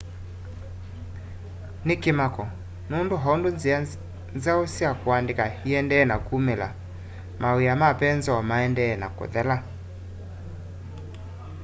ni kimako nundu oundu nzia nzau sya kuandika iendee na kumila mawia ma penzoo maendee na kuthela